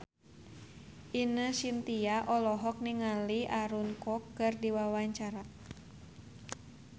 Ine Shintya olohok ningali Aaron Kwok keur diwawancara